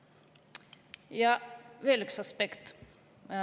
Ja veel üks aspekt.